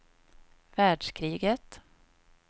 världskriget